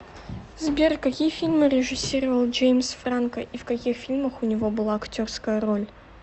сбер какие фильмы режиссировал джеимс франко и в каких фильмах у него была актерская роль